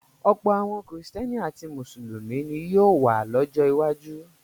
Ọ̀pọ̀ àwọn Kìrìtẹ́ẹ́nì àti Mùsùlùmí ni yóò wà lọ́jọ́ iwájú.